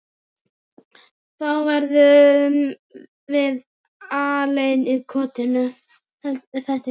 Þá verðum við alein í kotinu.